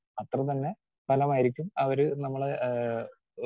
speaker 2 അത്രതന്നെ ഫലമായിരിക്കും അവര് നമ്മളെ ഏഹ് ഓ